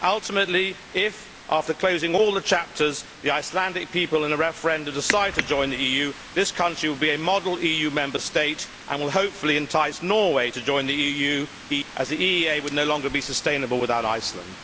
Ultimately, if after closing all the chapters the Icelandic people in a referendum decide to join the EU, this country will be a model EU Member State and will hopefully entice Norway to join the EU as EFTA would no longer be sustainable without Iceland.